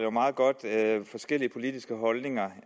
jo meget godt forskellige politiske holdninger